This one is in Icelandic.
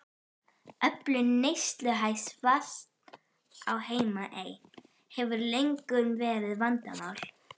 Öflun neysluhæfs vatns á Heimaey hefur löngum verið vandamál.